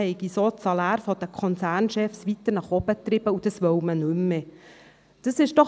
Mit Provisionen seien die Saläre der Konzernchefs weiter hochgetrieben worden, das wolle man nicht mehr.